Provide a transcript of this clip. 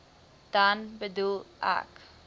dan bedoel ek